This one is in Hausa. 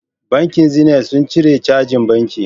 Bankin zenit sun cire cajin banki